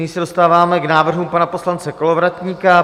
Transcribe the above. Nyní se dostáváme k návrhům pana poslance Kolovratníka.